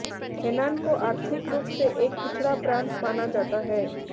Henan को आर्थिक रूप से एक पिछड़ा प्रांत माना जाता है